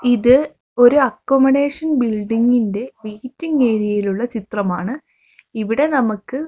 ഇത് ഒരു അക്കോമഡേഷൻ ബിൽഡിങ്ങിന്റെ വെയ്റ്റിംഗ് ഏരിയയിലുള്ള ചിത്രമാണ് ഇവിടെ നമുക്ക്--